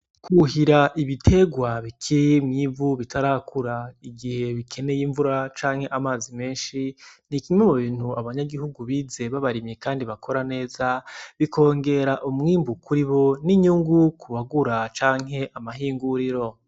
Kuhira ibiterwa bike bitarakura, igihe bikeneye imvura canke amazi menshi n'ikimwe mubintu abanyagihugu bize b'abarimyi Kandi bakora neza, bikongera umwimbu kuribo n'umwimbu kubagura canke amahinguriro.